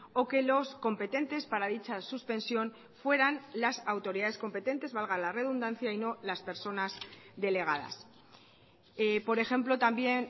o que los competentes para dicha suspensión fueran las autoridades competentes valga la redundancia y no las personas delegadas por ejemplo también